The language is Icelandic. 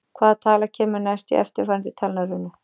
Hvaða tala kemur næst í eftirfarandi talnarunu?